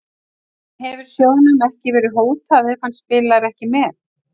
En hefur sjóðnum verið hótað ef hann spilar ekki með?